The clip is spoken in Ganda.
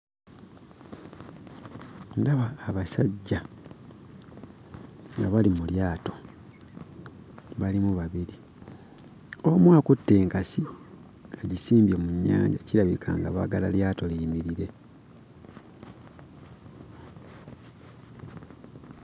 Ndaba abasajja nga bali mu lyato, balimu babiri. Omu akutte enkasi agisimbye mu nnyanja kirabika nga baagala lyato liyimirire.